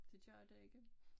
Det gør det ikke